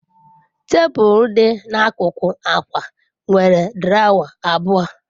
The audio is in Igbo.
Tebụl dị n'akụkụ akwa nwere drawer abụọ.